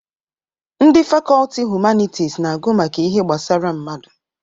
Ndị fakọlti Humanitis na-agụ maka ihe gbasara mmadụ.